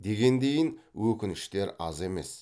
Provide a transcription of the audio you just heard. дегендейін өкініштер аз емес